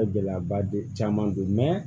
Gɛlɛyaba don caman don